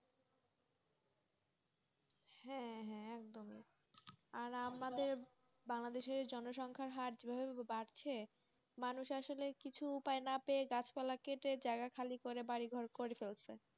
হ্যাঁ হাঁ একদম আর আমাদের banladash জনসঙ্গে হার যে ভাবে বাড়ছে মানুষ আসলে কিছু উপায় না পেয়ে গাছ পালা কেটে জয়গাই খালি করে বাড়ি ঘর করে চলছে